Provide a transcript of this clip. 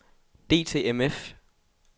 DTMF